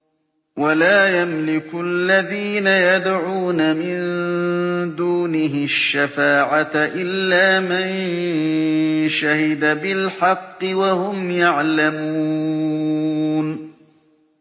وَلَا يَمْلِكُ الَّذِينَ يَدْعُونَ مِن دُونِهِ الشَّفَاعَةَ إِلَّا مَن شَهِدَ بِالْحَقِّ وَهُمْ يَعْلَمُونَ